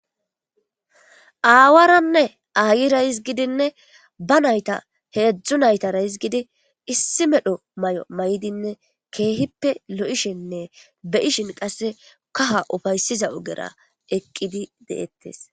aawaranne aayira izgidinne ba nayta heedzdzu naytaraizgidi issi medho may7o may7dinne keehippe lo7ishenne beyishin qasse kaha ufaysiza ogera eqqidi deettes